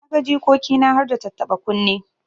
Na ga jikoki na harda tattaba kunne.